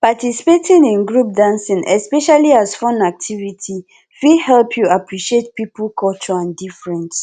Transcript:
participating in group dancing especially as fun activity fit help you appreciate pipo culture and difference